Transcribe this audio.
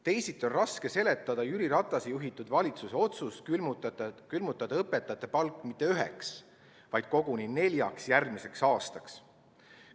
Teisiti on raske seletada Jüri Ratase juhitud valitsuse otsust külmutada õpetajate palk mitte üheks, vaid koguni neljaks järgmiseks aastaks.